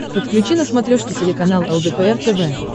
подключи на смотрешке телеканал лдпр тв